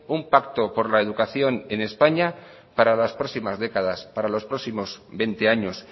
un pacto por la educación en españa para las próximas décadas para los próximos veinte años